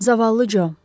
Zavallı Co.